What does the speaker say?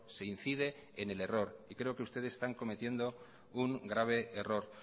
se incide en el error y creo que ustedes están cometiendo un grave error